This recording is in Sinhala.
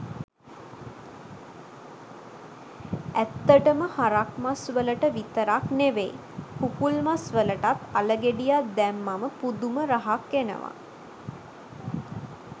ඇත්තටම හරක් මස් වලට විතරක් නෙවෙයි කුකුළු මස් වලටත් අල ගෙඩියක් දැම්මම පුදුම රහක් එනවා